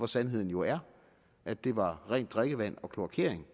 sandheden jo er at det var rent drikkevand og kloakering